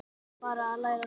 Þá er bara að læra það!